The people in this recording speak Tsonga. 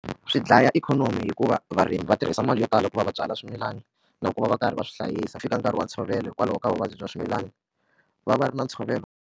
Swi dlaya ikhonomi hikuva varimi va tirhisa mali yo tala ku va va byala swimilana na ku va va karhi va swi hlayisa fika nkarhi wa ntshovelo hikwalaho ka vuvabyi bya swimilana va va ri na ntshovelo.